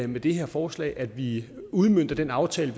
med det her forslag at vi udmønter den aftale